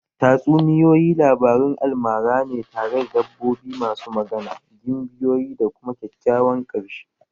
Tatsuniyoyi labarun almara ne tare da dabbobi masu magana, gimbiyoyi da kuma kyakkyawan ƙarshe